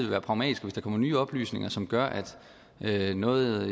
være pragmatisk hvis der kommer nye oplysninger som gør at noget